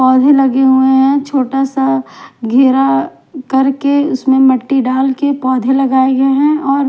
पौधे लगे हुए हैं छोटा सा घेरा करके उसमें मट्टी डालके पौधे लगाए गए हैं और--